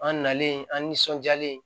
An nalen an nisɔndiyalen